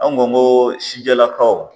Anw ko n ko sijɛlakaw.